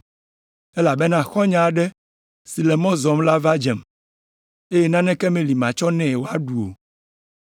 elabena xɔ̃nye aɖe si le mɔ zɔm la va dzem, eye naneke meli matsɔ nɛ wòaɖu o.’